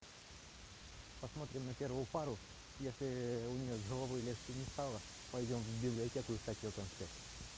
посмотрим на первую пару если у неё с головой легче не стало пойдём в библиотеку искать её конспект